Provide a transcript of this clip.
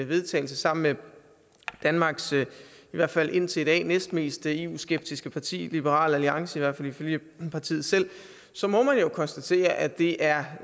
vedtagelse sammen med danmarks i hvert fald indtil i dag næstmest eu skeptiske parti nemlig liberal alliance i hvert fald ifølge partiet selv så må man jo konstatere at det er